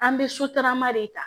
An bɛ sotarama de ta